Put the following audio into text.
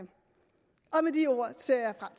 med de ord ser